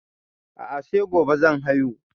A'a sai gobe zan haihu